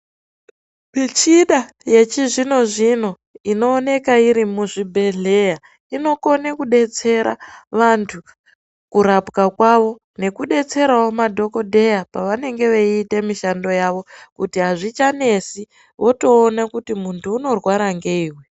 Mishina yechizvino zvino inooneka iri muzvibhedhleya inokone kudetsera vantu kurapwa kwavo nekudetserawo madhokodheya pavanenge veita mishando yavo kuti hazvichanetsi votoona kuti muntu unorwara ngeyi uyu.